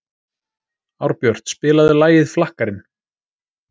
Árbjört, spilaðu lagið „Flakkarinn“.